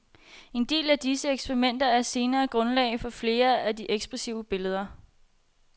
En del af disse eksperimenter er senere grundlag for flere af de ekspressive billeder.